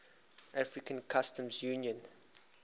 african customs union